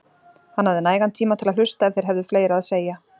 Hann hafði nægan tíma til að hlusta ef þeir hefðu fleira að segja.